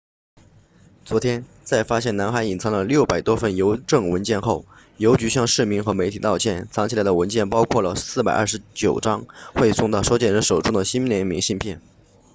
昨天在发现男孩隐藏了600多份邮政文件后邮局向市民和媒体道歉藏起来的文件包括了429张未送到收件人手中的新年明信片